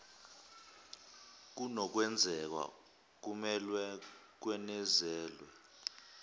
kunokwenzeka kumelwe kwenezelwe